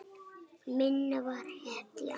Minna var hetja.